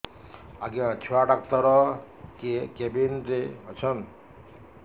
ଆଜ୍ଞା ଛୁଆ ଡାକ୍ତର କେ କେବିନ୍ ରେ ଅଛନ୍